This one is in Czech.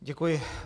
Děkuji.